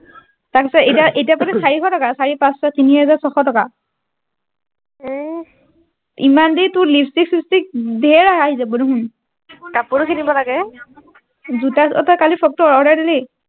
তাৰ পিছত এতিয়া এতিয়া পাবি চাৰিশ টকা চাৰিশ পাঁচ ছয় তিনি হেজাৰ ছশ টকা এহ ইমান দেৰি টোৰ লিপষ্টিক চিষ্ট্ৰিক ধেইৰ আহি যাব দেখোন কাপোৰ কিনিব লাগে জোতা অ টো কালি ফ্ৰক টো order দিলি